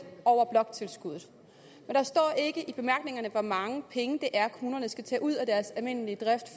over bloktilskuddet der står ikke i bemærkningerne hvor mange penge det er kommunerne skal tage ud af deres almindelige drift